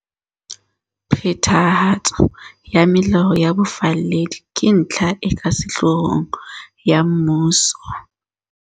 Phethahatso ya melao ya bofalledi ke ntlha e ka sehloohong ya mmuso.